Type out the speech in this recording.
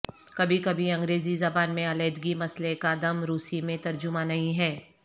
کبھی کبھی انگریزی زبان میں علیحدگی مسئلے کا دم روسی میں ترجمہ نہیں ہے